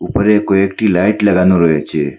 উপরে কয়েকটি লাইট লাগানো রয়েছে।